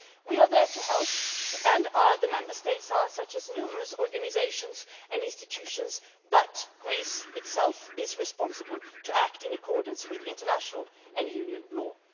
We are there to help, as are the Member States' numerous organisations and institutions, but Greece itself has the responsibility to act in accordance with international and Union law.